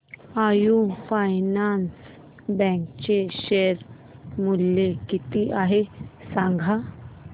AU finance bank चे share मूल्य किती आहे सांगा